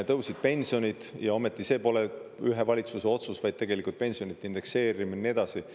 Tõusid pensionid ja ometi see pole ühe valitsuse otsus, vaid tegelikult pensionide indekseerimine ja nii edasi.